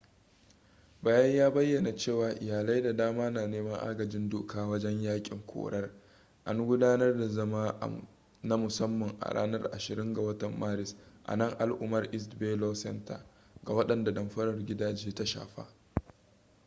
bayan ya bayyana cewa iyalai da dama na neman agajin doka wajen yakin korar an gudanar da zama na musamman a ranar 20 ga watan maris a nan al'umar east bay law center ga wadanda damfarar gidaje ta shafa